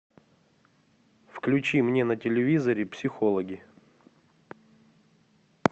включи мне на телевизоре психологи